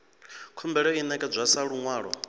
khumbelo i ṋekedzwa sa luṅwalo